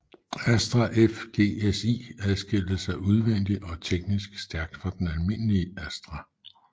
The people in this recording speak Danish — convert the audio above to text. Astra F GSi adskilte sig udvendigt og teknisk stærkt fra den almindelige Astra